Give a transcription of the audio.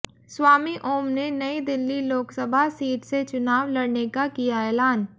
स्वामी ओम ने नई दिल्ली लोकसभा सीट से चुनाव लड़ने का किया ऐलान